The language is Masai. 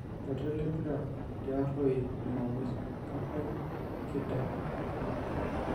Iratiot lempira te Arroi Jumamosi; Kapai, Nkida, Mata